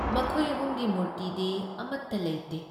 ꯃꯈꯣꯏ ꯑꯍꯨꯨꯝꯒꯤ ꯃꯨꯔꯇꯤꯗꯤ ꯑꯃꯠꯇ ꯂꯩꯇꯦ꯫